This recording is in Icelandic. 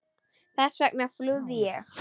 Hvers vegna flúði ég?